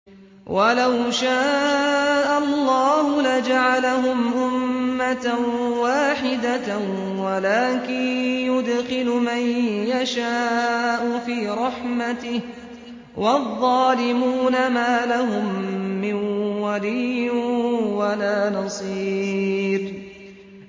وَلَوْ شَاءَ اللَّهُ لَجَعَلَهُمْ أُمَّةً وَاحِدَةً وَلَٰكِن يُدْخِلُ مَن يَشَاءُ فِي رَحْمَتِهِ ۚ وَالظَّالِمُونَ مَا لَهُم مِّن وَلِيٍّ وَلَا نَصِيرٍ